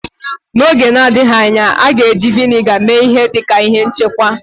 N'oge na-adịghị anya, a ga-eji Vị́nịga mee ihe dị ka ihe nchekwa